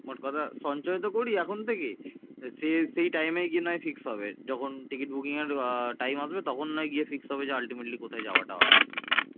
মোট কথা সঞ্চয়তো করি এখন থেকে সে সে time এ গিয়ে নাহয় ঠিক হবে যখন ticket booking এর আহ time আসবে তখন নই গিয়ে fixed হবে যে ultimately কোথায় যাওয়া টা হবে